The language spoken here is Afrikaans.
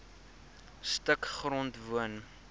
stuk grond woon